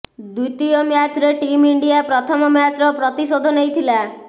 ଦ୍ୱିତୀୟ ମ୍ୟାଚରେ team India ପ୍ରଥମ ମ୍ୟାଚର ପ୍ରତିଶୋଧ ନେଇଥିଲା